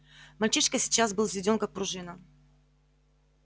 мальчишка сейчас был взведён как пружина